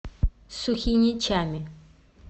сухиничами